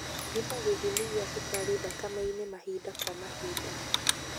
Thima gĩthimi gĩa cukari thakame-inĩ mahinda kwa mahinda.